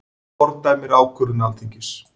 Fordæmir ákvörðun Alþingis